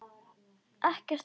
Ekkert svar.